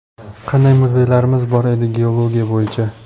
Qanday muzeylarimiz bor edi geologiya bo‘yicha.